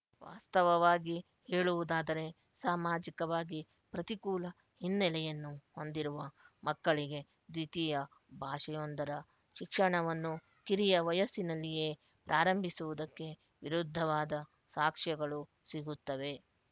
ವಾಸ್ತವವಾಗಿ ಹೇಳುವುದಾದರೆ ಸಾಮಾಜಿಕವಾಗಿ ಪ್ರತಿಕೂಲ ಹಿನ್ನೆಲೆಯನ್ನು ಹೊಂದಿರುವ ಮಕ್ಕಳಿಗೆ ದ್ವಿತೀಯ ಭಾಷೆಯೊಂದರ ಶಿಕ್ಷಣವನ್ನು ಕಿರಿಯ ವಯಸ್ಸಿನಲ್ಲಿಯೇ ಪ್ರಾರಂಭಿಸುವುದಕ್ಕೆ ವಿರುದ್ಧವಾದ ಸಾಕ್ಷ್ಯಗಳು ಸಿಗುತ್ತವೆ